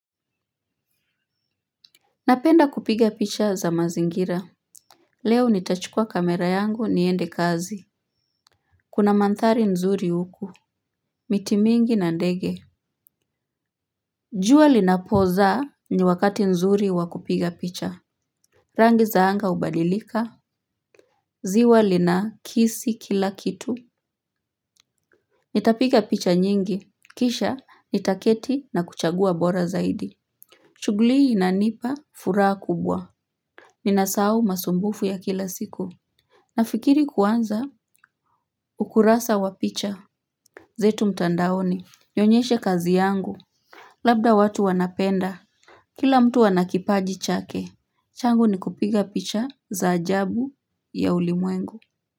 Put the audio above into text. Napenda kupiga picha za mazingira. Leo nitachukua kamera yangu niende kazi. Kuna manthari nzuri huku. Miti mingi na ndege. Jua linapoza ni wakati nzuri wakupiga picha. Rangi za anga ubadilika. Ziwa lina kisi kila kitu. Nitapiga picha nyingi kisha nitaketi na kuchagua bora zaidi shugli hii inanipa furaa kubwa. Ninasau masumbufu ya kila siku. Nafikiri kuanza ukurasa wa picha. Zetu mtandaoni, nionyeshe kazi yangu. Labda watu wanapenda, kila mtu wanakipaji chake. Changu ni kupiga picha za ajabu ya ulimwengu.